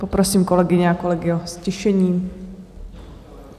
Poprosím kolegyně a kolegy o ztišení.